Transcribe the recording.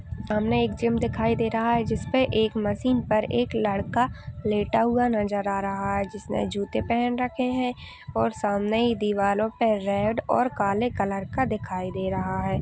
सामने एक जिम दिखाई दे रहा है जिसपे एक मशीन पर एक लड़का लेटा हुआ नजर आ रहा है जिसने जूते पहन रखे हैं और सामने ही दीवालो पे रेड और काले कलर का दिखाई दे रहा है।